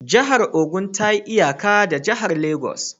Jihar Ogun ta yi iyaka da jihar Legas